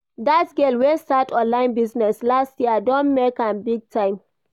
That girl wey start online business last year don make am big time